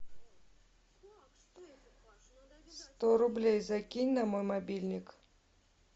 сто рублей закинь на мой мобильник